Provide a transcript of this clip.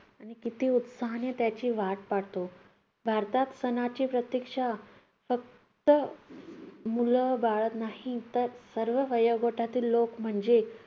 आणि किती उत्साहाने त्याची वाट पाहतो. भारतात सणाची प्रतीक्षा फक्त मुलं पाहात नाहीत तर सर्व वयोगटातील लोकं म्हणजेच